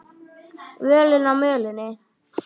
Völin á mölinni